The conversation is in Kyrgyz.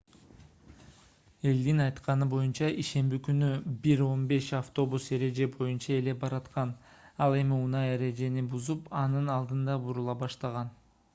элдин айтканы боюнча ишемби күнү 01:15 автобус эреже боюнча эле бараткан ал эми унаа эрежени бузуп анын алдында бурула баштаган